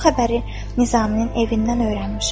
Bu xəbəri Nizaminin evindən öyrənmişəm.